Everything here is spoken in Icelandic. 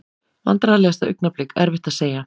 Vandræðalegasta augnablik: Erfitt að segja.